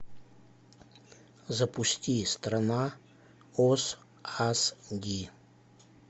запусти страна оз ас ди